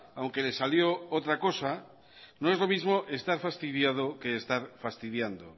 aunque le salió otra cosa no es lo mismo estar fastidiado que estar fastidiando